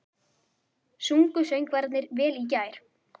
Sungu söngvararnir vel í gær?